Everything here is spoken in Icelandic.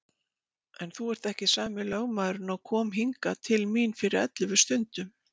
En þú ert ekki sami lögmaðurinn og kom hingað til mín fyrir ellefu stundum.